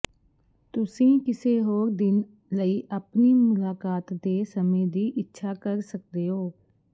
ਤੁਸੀਂ ਕਿਸੇ ਹੋਰ ਦਿਨ ਲਈ ਆਪਣੀ ਮੁਲਾਕਾਤ ਦੇ ਸਮੇਂ ਦੀ ਇੱਛਾ ਕਰ ਸਕਦੇ ਹੋ